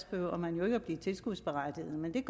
behøver man jo ikke at blive tilskudsberettiget men det